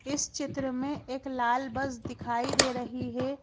इस चित्र में एक लाल बस दिखाई दे रही है।